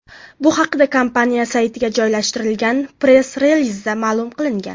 Bu haqda kompaniya saytiga joylashtirilgan press-relizda ma’lum qilingan .